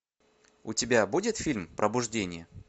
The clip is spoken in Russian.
у тебя будет фильм пробуждение